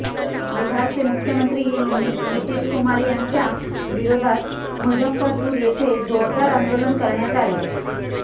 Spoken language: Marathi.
बिहारचे मुख्यमंत्री नितीशकुमार यांच्या विरोधात मुझफ्फरपूर येथे जोरदार आंदोलन करण्यात आले